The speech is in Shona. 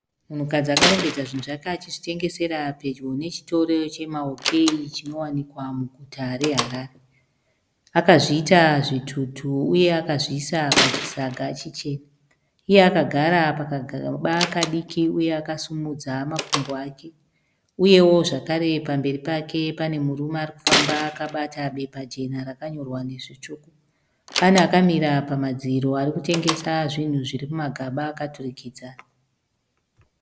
Munhukadzi akarongedza zvinhu zvake achizvitengesera pedyo nechitoro chema OK chinowanikwa muguta reHarere. Akazviita zvitutu uye akazviisa pachisaga chichena. Iye akagara pakagaba kadiki uye akasimudza makumbo ake . Uyewo zvakare pamberi pake panemurune arikufamba akabata bepa jena rakanyorwa nezvitsvuku. Pane akamira pamadziro arikutengesa zvinhu zviri mumagaba akaturikidzana.